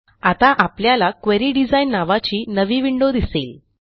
आता आपल्याला query design नावाची नवी विंडो दिसेल